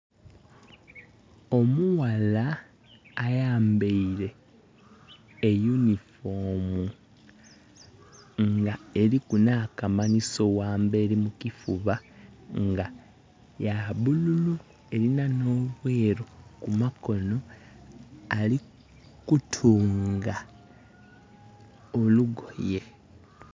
Omughala ayambaile e uniform nga eliku nh'akamanhiso ghamberi mu kifuba nga ya bululu, elina nh'obweeru ku makono, ali kutunga olugoye.